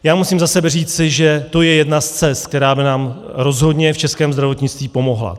Já musím za sebe říci, že to je jedna z cest, která by nám rozhodně v českém zdravotnictví pomohla.